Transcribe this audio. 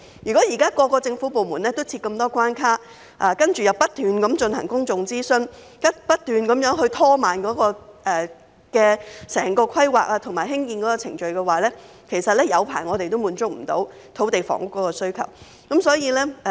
現時各個部門都設立重重關卡，然後不斷進行公眾諮詢，不斷拖慢整個規劃及興建程序，即使再過很長時間，也難以滿足土地房屋的需求。